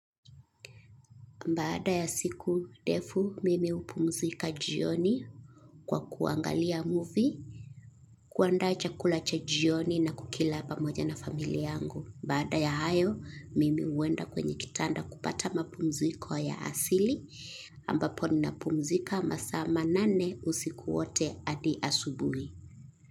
Baada ya siku ndefu mimi hupumzika jioni kwa kuangalia movie, kuandaa chakula cha jioni na kukila pamoja na familia yangu. Baada ya hayo, mimi huenda kwenye kitanda kupata mapumziko ya asili, ambapo ninapumzika masaa manane usiku wote hadi asubuhi.